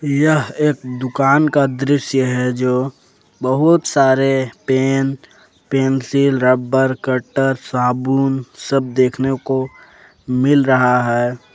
यह एक दुकान का दृश्य है जो बहुत सारे पेन पेंसिल रबर कटर साबुन सब देखने को मिल रहा है।